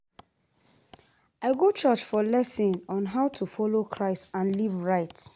I go church for lessons on how to follow Christ and live right.